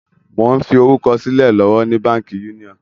Mo ń fi orúkọ sílẹ̀ lọ́wọ́ ni Báńkì Union.